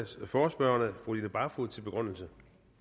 forespørgerne fru line barfod til begrundelse